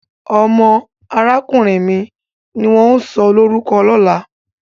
Omo arakunrin mi ni won o sọlorukọ lola.